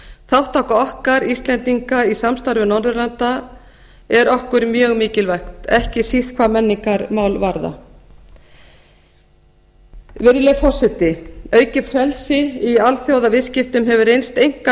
þátttaka okkar íslendinga í samstarfi norðurlanda er okkur mjög mikilvæg ekki síst hvað menningarmál varðar virðulegi forseti aukið frelsi í alþjóðaviðskiptum hefur reynst einkar